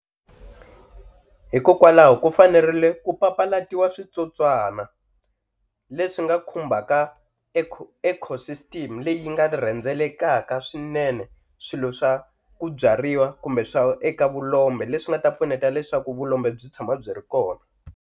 Hikokwalaho ku fanerile ku papalatiwa switsotswana leswi nga khumbaka eco ecosystem leyi nga rhendzelekaka swinene swilo swa ku byariwa kumbe swa eka vulombe leswi nga ta pfuneta leswaku vulombe byi tshama byi ri kona.